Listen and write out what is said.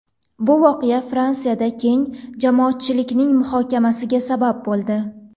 Bu voqea Fransiyada keng jamoatchilikning muhokamasiga sabab bo‘ldi.